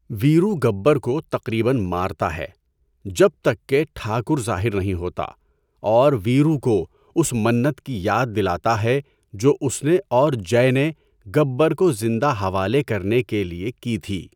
ویرو گبر کو تقریباً مارتا ہے جب تک کہ ٹھاکر ظاہر نہیں ہوتا اور ویرو کو اس منت کی یاد دلاتا ہے جو اس نے اور جئے نے گبر کو زندہ حوالے کرنے کے لیے کی تھی۔